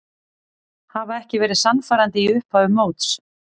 Hafa ekki verið sannfærandi í upphafi móts.